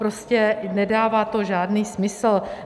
Prostě to nedává žádný smysl.